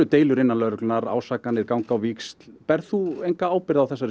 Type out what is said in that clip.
deilur innan lögreglunnar ásakanir ganga á víxl berð þú enga ábyrgð á þessari